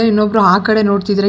ಇನ್ನೊಬ್ರು ಆ ಕಡೆ ನೋಡ್ತಿದಾರೆ ಕಿಟ್--